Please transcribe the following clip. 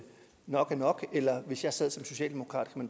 nok er nok eller om hvis jeg sad som socialdemokrat